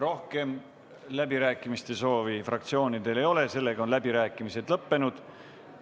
Rohkem läbirääkimiste soovi fraktsioonidel ei ole ja sellega on läbirääkimised lõppenud.